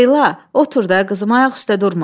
Leyla, otur da, qızım, ayaq üstə durma.